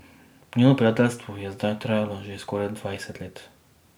Njuno prijateljstvo je zdaj trajalo že skoraj dvajset let.